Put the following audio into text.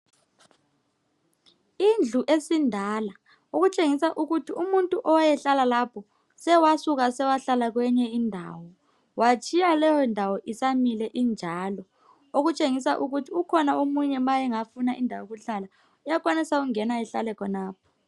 Indlu esindala okutshengisa ukuthi umuntu owayehlala lapho sewasuka sewahlala kwenye indawo watshiya leyo ndawo isamile injalo okutshengisa ukhona omunye nxa engafuna indawo yokuhlala uyenelisa ukungena ahlale khonapho.